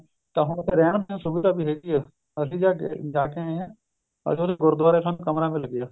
ਤਾਂ ਹੁਣ ਉੱਥੇ ਰਹਿਣ ਦੀ ਸੁਵਿਧਾ ਵੀ ਹੈਗੀ ਹੈ ਅਸੀਂ ਜਦ ਜਾ ਕੇ ਆਏ ਹਾਂ ਤਾਂ ਉੱਥੇ ਗੁਰੁਦਵਾਰੇ ਸਾਨੂੰ ਕਮਰਾ ਮਿਲ ਗਿਆ